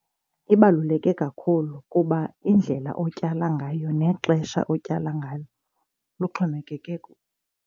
Ibaluleke kakhulu kuba indlela otyala ngayo nexesha otyala ngalo luxhomekeke .